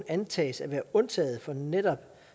antages at være undtaget som netop